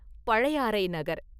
Pazhayarai Nagar!